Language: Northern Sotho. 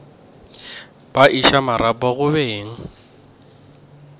ba iša marapo go beng